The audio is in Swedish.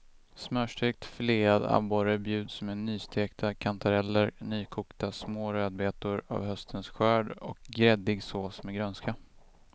Smörstekt filead abborre bjuds med nystekta kantareller, nykokta små rödbetor av höstens skörd och gräddig sås med grönska.